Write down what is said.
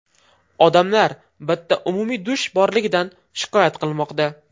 Odamlar bitta umumiy dush borligidan shikoyat qilmoqda.